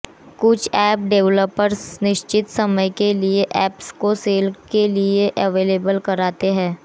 कुछ app developers निश्चित समय के लिए ऐप्स को सेल के लिए अबेलेवल कराते हैं